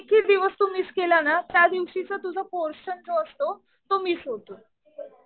एक हि दिवस तू मिस केलं ना त्या दिवशीचा जो पोर्शन जो असतो तो मिस होतो.